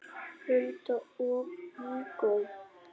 Hulda og Viggó.